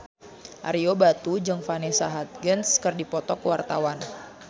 Ario Batu jeung Vanessa Hudgens keur dipoto ku wartawan